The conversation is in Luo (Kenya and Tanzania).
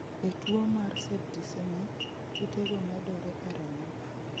E tuwo mar septicemic, kute go medore e remo